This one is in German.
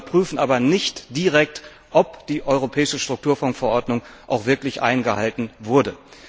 Sie überprüfen aber nicht direkt, ob die europäische Strukturfondsverordnung auch wirklich eingehalten wurde.